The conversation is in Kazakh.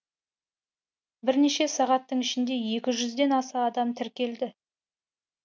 бірнеше сағаттың ішінде екі жүзден аса адам тіркелді